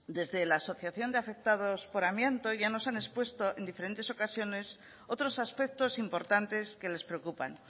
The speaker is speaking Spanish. desde la asociación de afectados por amianto ya nos han expuesto en diferentes ocasiones otros aspectos importantes que les preocupan